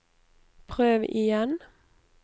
prøv igjen